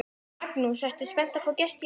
Magnús: Ertu spennt að fá gesti í heimsókn?